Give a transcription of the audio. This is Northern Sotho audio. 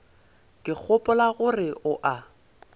ke gopola gore o a